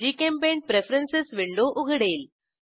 GChemPaint preference window उघडेल